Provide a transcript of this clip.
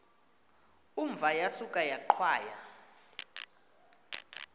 umva yasuka yaqhwaya